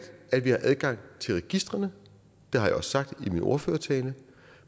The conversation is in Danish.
at vi har adgang til registrene det har jeg også sagt i min ordførertale